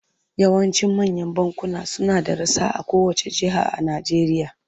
Yawancin manyan bankuna suna da rassa a kowacce jiha a Najeriya.